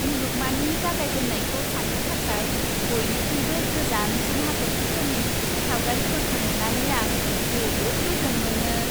मुलुगमानि जागायजेन्नायखौ सान्नो थाखाय बयनिख्रुइबो गोजानसिन हाथर्खिफोरनि सावगारिफोरखौ नुनानै आं जोबोद गोजोन मोनो।